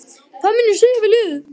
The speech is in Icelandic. Hvað mun ég segja við liðið?